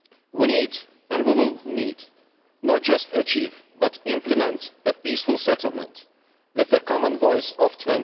We need, and we will need, not just to achieve but to implement a peaceful settlement with the common voice of the